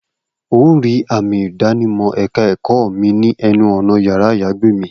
O óò rí àmì ìdánimọ̀ ẹ̀ka ẹ̀kọ́ mi ní ẹnu ọ̀nà yàrá-àyágbé mi